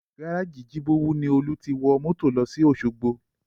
Gárájì Jibowu ni Olú ti wọ mọ́tò lọ sí Osogbo